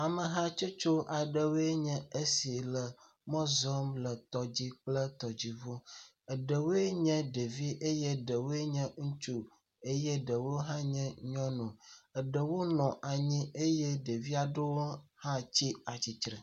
Amehatsotso aɖewoe nye esi le mɔ zɔmle tɔ dzi kple tɔdziŋu. Eɖewo nye ɖevi, eɖewo nye ŋutsu eye eɖewo hã nye nyɔnu. Ɖewo nɔ anyi eye ɖeviawo tsi atsitre.